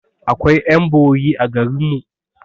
Akwai ƴan bori a garinmu